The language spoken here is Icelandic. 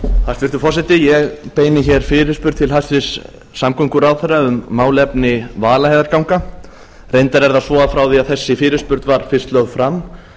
hæstvirtur forseti ég beini hér fyrirspurn til hæstvirts samgönguráðherra um málefni vaðlaheiðarganga reyndar er það svo að frá því að þessi fyrirspurn var fyrst lögð fram